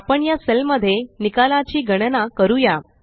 आपण या सेल मध्ये निकालाची गणना करूया